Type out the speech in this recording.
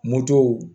Moto